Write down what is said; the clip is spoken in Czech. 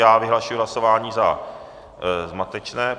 Já vyhlašuji hlasování za zmatečné.